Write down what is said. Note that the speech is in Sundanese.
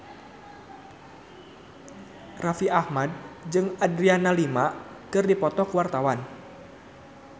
Raffi Ahmad jeung Adriana Lima keur dipoto ku wartawan